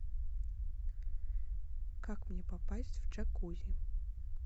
как мне попасть в джакузи